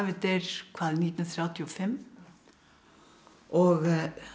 deyr hvað nítján hundruð þrjátíu og fimm og